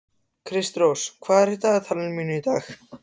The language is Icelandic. Kristrós, hvað er á dagatalinu mínu í dag?